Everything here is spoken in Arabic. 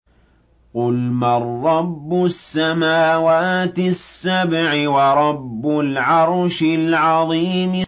قُلْ مَن رَّبُّ السَّمَاوَاتِ السَّبْعِ وَرَبُّ الْعَرْشِ الْعَظِيمِ